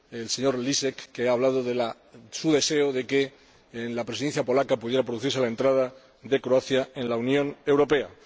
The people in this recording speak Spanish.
señor Lisek, quuien ha hablado de su deseo de que en la Presidencia polaca pudiera producirse la entrada de Croacia en la Unión Europea.